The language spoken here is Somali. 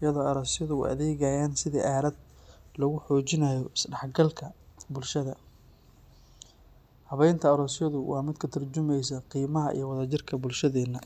iyadoo aroosyadu u adeegayaan sidii aalad lagu xoojinayo isdhexgalka bulshada. Habaynta aroosyadu waa mid ka tarjumaysa qiimaha iyo wadajirka bulshadeenna.